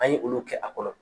An ye olu kɛ a kɔnɔ.